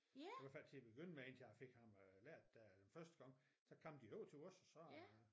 I hvert fald til at begynde med indtil jeg fik ham øh lært det første gang så kom de over til os så øh